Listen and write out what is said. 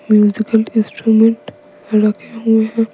Musical instrument रखे हुए हैं।